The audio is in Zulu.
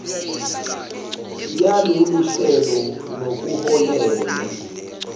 yalolu hlelo nokuholele